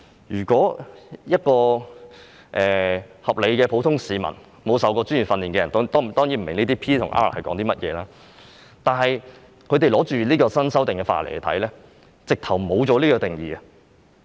如果是一名合理的普通市民、沒有受過專業訓練，當然不明白這些 "P" 和 "R" 是甚麼，但他們拿着新修訂的法例來看，發覺沒有這些定義。